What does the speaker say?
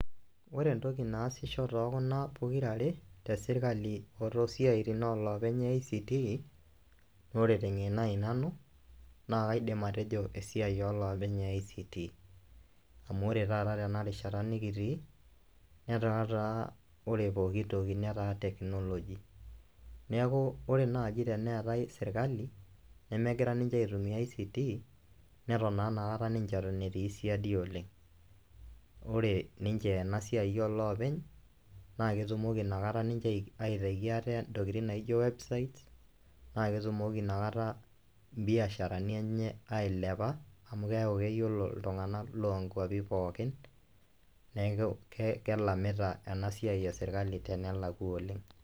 Wore entoki naasisho tookuna pokirare, tesirkali otoosiaitin oloopeny ICT, naa wore tengeno ai nanu, naa kaidim atejo esiai oloopeny e ICT. Amu wore taata tenarishata nikitii, netaa taa wore pookin toki netaa technology . Neeku wore naaji teneetai serkali, nemekira ninche aitumia ICT, neton naa inakata ninche eton etii sidai oleng'. Wore ninche ena siai oloopeny, naa ketumoki inakata ninche aitaki ate intokitin naijo website, naa ketumoki ina kata imbiasharani enye ailepa amu keaku keyiolo iltunganak loonkuapi pookin, neeku kelamita ena siai esirkali tenelakwa oleng'.